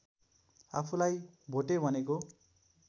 आफूलाई भोटे भनेको